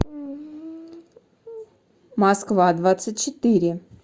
москва двадцать четыре